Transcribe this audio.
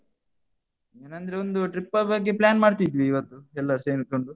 ಏನಂದ್ರೆ ಒಂದು trip ಬಗ್ಗೆ plan ಮಾಡ್ತಿದ್ವಿ ಇವತ್ತು, ಎಲ್ಲರೂ ಸೇರಿಕೊಂಡು.